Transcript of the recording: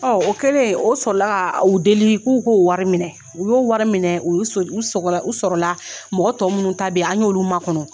O kɛlen o sɔrɔ la ka u deli, k'u k'o wari minɛ. U y'o wari minɛ, u y'u sɔl u sɔgɔ la u sɔrɔla, mɔgɔ tɔw minnu ta bɛ yen an y'olu makɔnɔ.